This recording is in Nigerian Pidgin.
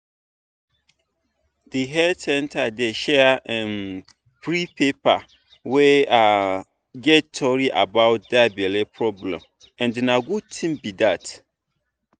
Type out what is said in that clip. the health center dey share um free paper wey um get tory about that belle problem and na good thing be that